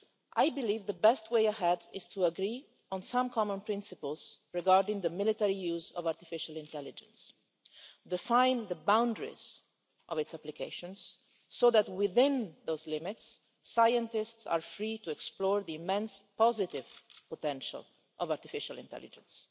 I believe the best way ahead is to agree on some common principles regarding the military use of artificial intelligence, and to define the boundaries of its applications so that, within those limits, scientists are free to explore the immense positive potential of artificial intelligence.